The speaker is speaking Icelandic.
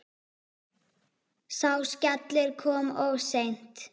Sá skellur kom of seint.